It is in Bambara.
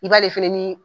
I b'ale fɛnɛ nii